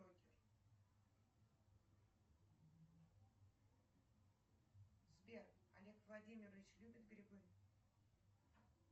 сбер олег владимирович любит грибы